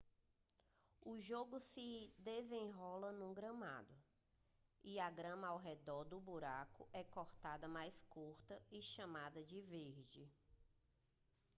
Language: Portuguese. o jogo se desenrola no gramado e a grama ao redor do buraco é cortada mais curta e chamada de verde